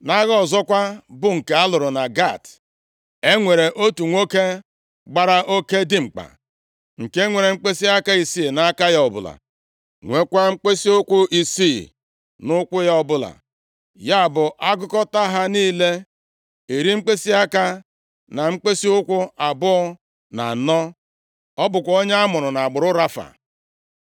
Nʼagha ọzọkwa, bụ nke a lụrụ na Gat, e nwere otu nwoke gbara oke dimkpa, nke nwere mkpịsịaka isii nʼaka ya ọbụla, nweekwa mkpịsịụkwụ isii nʼụkwụ ya ọbụla, ya bụ, a gụkọtaa ha niile, iri mkpịsịaka na mkpịsịụkwụ abụọ na anọ. Ọ bụkwa onye amụrụ nʼagbụrụ Rafa.